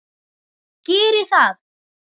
Geri það!